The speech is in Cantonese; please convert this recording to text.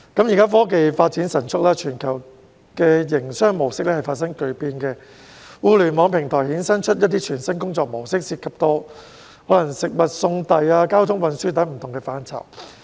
現時科技發展神速，全球營商模式發生巨變，互聯網平台衍生出全新的工作模式，涉及食物送遞、交通運輸等不同範疇。